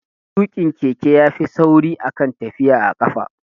Tuƙa keke ya fi sauri a kan tafiya da ƙafa